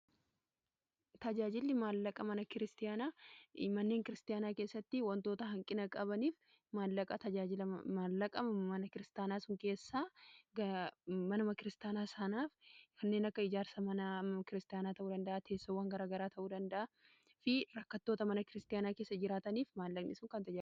Tajaajilli maallaqaa mana kiristaanaa manneen kiristaanaa keessatti wantoota hanqina qabaniif maallaqaa tajaajila maallaqa mana kiristaanaa su keessaa manama kiristaanaa saanaaf kanneen akka ijaarsa m kiristaanaa ta'uu danda'a teessawwan garagaraa ta'uu danda'a fi rakkattoota mana kiristaanaa keessa jiraataniif maallaqni ni kennama.